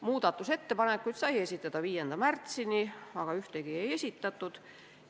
Muudatusettepanekuid sai esitada 5. märtsini, aga ühtegi ei esitatud.